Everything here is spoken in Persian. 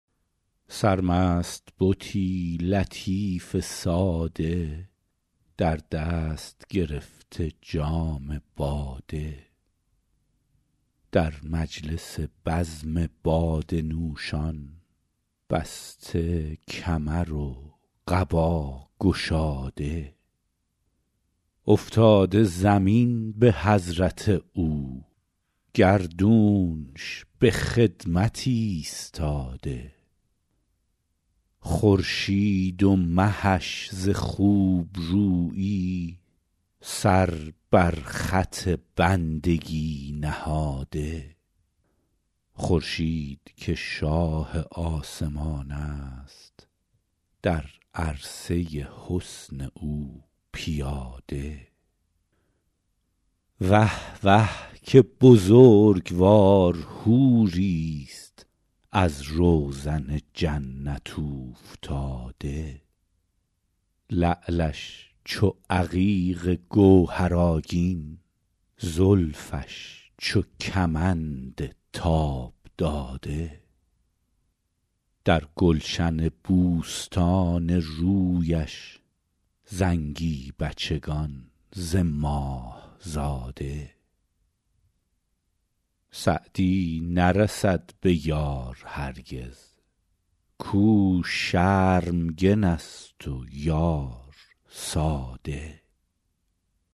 سرمست بتی لطیف ساده در دست گرفته جام باده در مجلس بزم باده نوشان بسته کمر و قبا گشاده افتاده زمین به حضرت او گردونش به خدمت ایستاده خورشید و مهش ز خوبرویی سر بر خط بندگی نهاده خورشید که شاه آسمان است در عرصه حسن او پیاده وه وه که بزرگوار حوریست از روزن جنت اوفتاده لعلش چو عقیق گوهرآگین زلفش چو کمند تاب داده در گلشن بوستان رویش زنگی بچگان ز ماه زاده سعدی نرسد به یار هرگز کاو شرمگن است و یار ساده